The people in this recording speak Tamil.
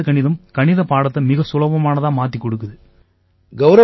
ஆனா வேத கணிதம் கணிதப் பாடத்தை மிகச் சுலபமானதா மாத்திக் கொடுக்குது